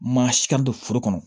Maa si ka don foro kɔnɔ